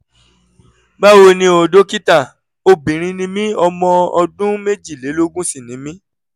báwo ni o dókítà? obìnrin ni mí ọmọ ọdún méjìlélógún sì ni mí